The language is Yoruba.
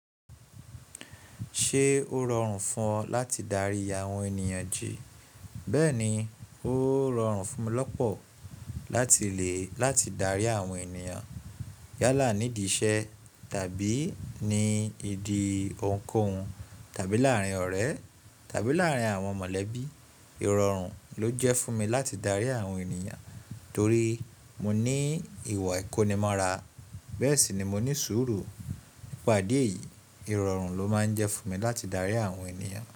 Ṣé ó rọrùn fún ọ láti darí àwọn ènìyàn jì? Bẹ́ẹ̀ni, ó rọrùn fún mi lọ́pọ̀ láti le láti darí àwọn ènìyàn yálà nídi iṣẹ́ tàbí nídi òhun kó hun tàbí láàárín ọ̀rẹ́ tàbí láàárín àwọn mọ̀lẹ́bí. Ìrọ̀rùn ló jẹ́ fún mi láti darí àwọn ènìyàn torí mo ní ìwà ìkónimọ́ra. Bẹ́ẹ̀ sì ni mo ní sùúrù. Nípa idi eyi, ìrọ̀rùn ló máa ń jẹ́ fún mi láti darí àwọn ènìyàn.